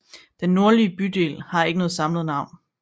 Den nordlige bydel har ikke noget samlet navn